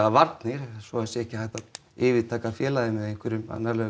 varnir svo ekki sé hægt að yfirtaka félagið með einhverjum annarlegum